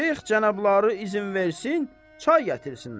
Şeyx cənabları izin versin, çay gətirsinlər.